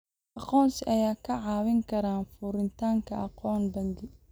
Aqoonsiga ayaa kaa caawin kara furitaanka akoon bangi.